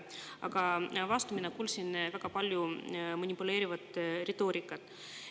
Aga vastu olen ma kuulnud väga palju manipuleerivat retoorikat.